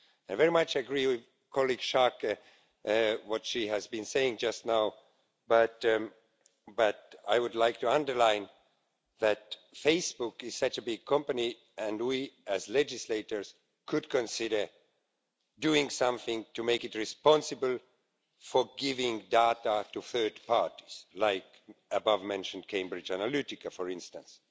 I very much agree with what Ms Schaake has been saying just now, but I would like to underline that Facebook is such a big company and we as legislators could consider doing something to make it responsible for giving data to third parties, like the above-mentioned Cambridge Analytica, for instance.